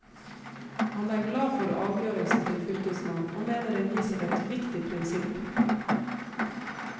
Han er glad for avgjørelsen til fylkesmannen, og mener den viser et viktig prinsipp.